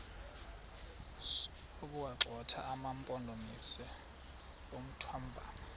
sokuwagxotha amampondomise omthonvama